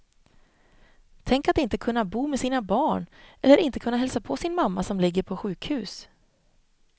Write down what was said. Tänk att inte kunna bo med sina barn, eller inte kunna hälsa på sin mamma som ligger på sjukhus.